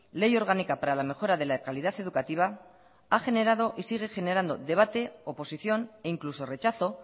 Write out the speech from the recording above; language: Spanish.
ley orgánica para la mejora de la calidad educativa ha generado y sigue generando debate oposición e incluso rechazo